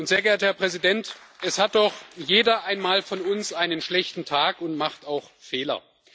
Sehr geehrter Herr Präsident, es hat doch jeder einmal von uns einen schlechten Tag und macht auch Fehler.